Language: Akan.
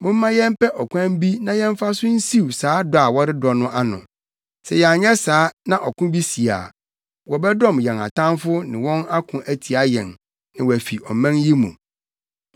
Momma yɛmpɛ ɔkwan bi na yɛmfa so nsiw saa dɔ a wɔredɔ no ano. Sɛ yɛanyɛ saa na ɔko bi si a, wɔbɛdɔm yɛn atamfo ne wɔn ako atia yɛn na wɔafi ɔman yi mu.”